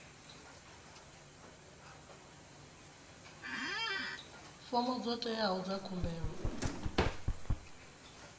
fomo dzo teaho dza khumbelo